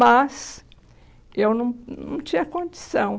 Mas eu num não tinha condição.